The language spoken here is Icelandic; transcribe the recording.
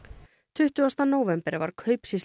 tuttugasta nóvember var